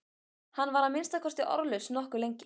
Hann var að minnsta kosti orðlaus nokkuð lengi.